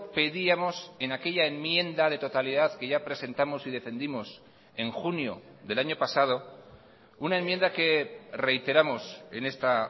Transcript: pedíamos en aquella enmienda de totalidad que ya presentamos y defendimos en junio del año pasado una enmienda que reiteramos en esta